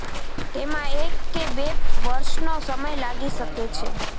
તેમાં એક કે બે વર્ષનો સમય લાગી શકે છે